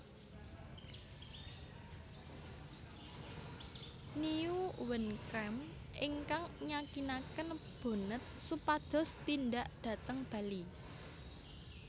Nieuwenkamp ingkang nyakinaken Bonnet supados tindak dhateng Bali